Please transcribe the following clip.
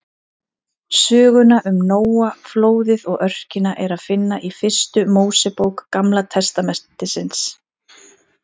Söguna um Nóa, flóðið og örkina er að finna í fyrstu Mósebók Gamla testamentisins.